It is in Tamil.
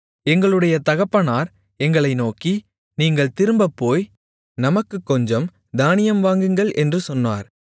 எங்களுடைய தகப்பனார் எங்களை நோக்கி நீங்கள் திரும்பப்போய் நமக்குக் கொஞ்சம் தானியம் வாங்குங்கள் என்று சொன்னார்